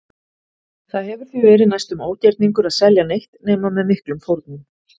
Það hefur því verið næstum ógerningur að selja neitt nema með miklum fórnum.